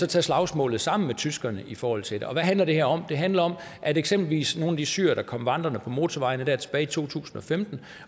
tage slagsmålet sammen med tyskerne i forhold til det hvad handler det her om det handler om at vi eksempelvis i nogle af de syrere der kom vandrende på motorvejene der tilbage i to tusind og femten